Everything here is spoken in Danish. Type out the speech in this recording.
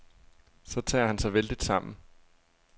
Så tager han sig vældigt sammen.